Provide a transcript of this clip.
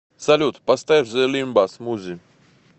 салют поставь зе лимба смузи